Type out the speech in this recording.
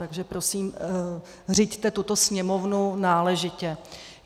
Takže prosím, řiďte tuto sněmovnu náležitě.